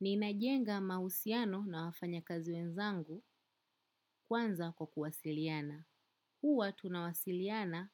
Ninajenga mahusiano na wafanyakazi wenzangu kwanza kwa kuwasiliana. Huwa tunawasiliana